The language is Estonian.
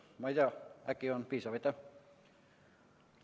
Ma ei tea, äkki ei olnud piisav.